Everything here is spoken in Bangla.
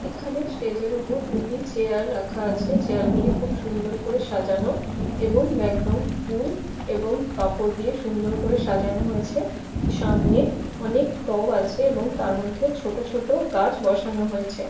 এখানে স্টেজের ওপরে দুটি চেয়ার রাখা আছে | চেয়ার গুলি খুব সুন্দর করে সাজানো | এবং ব্যাকগ্রাউন্ড ফুল এবং কাপড় দিয়ে সুন্দর করা সাজানো হয়েছে | সামনে অনেক টব আছে তার মধ্যে ছোট ছোট গাছ বসানো হয়েছে।